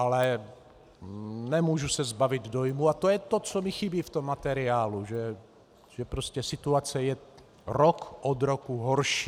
Ale nemůžu se zbavit dojmu, a to je to, co mi chybí v tom materiálu, že prostě situace je rok od roku horší.